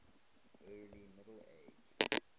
early middle ages